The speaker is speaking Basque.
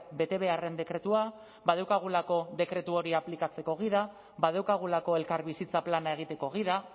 betebeharren dekretua badaukagulako dekretu hori aplikatzeko gida badaukagulako elkarbizitza plana egiteko gida